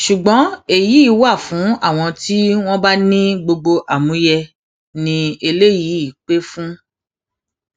ṣùgbọn èyí wà fún àwọn tí wọn bá ní gbogbo àmúyẹ i eléyìí pẹ fún